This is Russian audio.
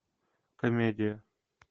комедия